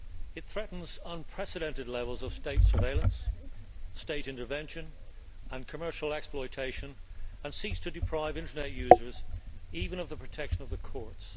It threatens unprecedented levels of state surveillance, state intervention and commercial exploitation and seeks to deprive internet users even of the protection of the courts.